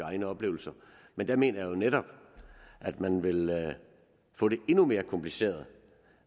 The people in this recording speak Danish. egne oplevelser men der mener jeg jo netop at man vil få det endnu mere kompliceret